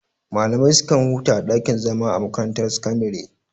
Malamai su kan huta a ɗakin zama a makarantar sakandare.